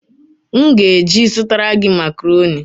M ga-eje zụtara gị makaroni